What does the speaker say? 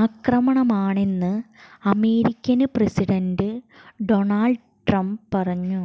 ആക്രമണമാണെന്ന് American president Donald Trump പറഞ്ഞു